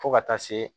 Fo ka taa se